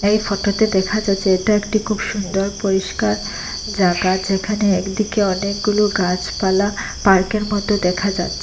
এই ফটোতে দেখা যাচ্ছে এটা একটি খুব সুন্দর পরিষ্কার জায়গা যেখানে একদিকে অনেকগুলো গাছপালা পার্কের মদ্যে দেখা যাচ্ছ--